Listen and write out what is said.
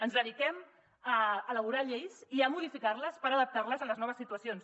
ens dediquem a elaborar lleis i a modificar les per adaptar les a les noves situacions